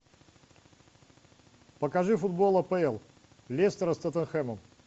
покажи футбол апл лестера с тоттенхэмом